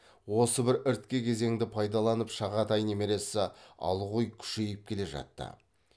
осы бір іріткі кезеңді пайдаланып шағатай немересі алғұй күшейіп келе жатты